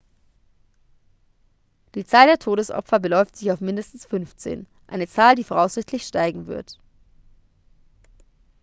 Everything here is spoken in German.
die zahl der todesopfer beläuft sich auf mindestens 15 eine zahl die voraussichtlich steigen wird